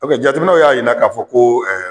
jateminɛw y'a jira k'a fɔ ko